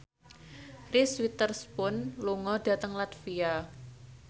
Reese Witherspoon lunga dhateng latvia